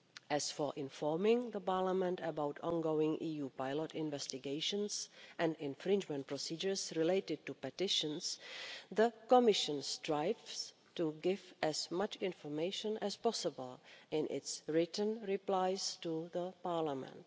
As for informing the Parliament about ongoing EU pilot investigations and infringement procedures related to petitions, the Commission strives to give as much information as possible in its written replies to Parliament.